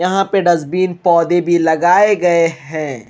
यहां पे डस्टबिन पौधे भी लगाए गए हैं।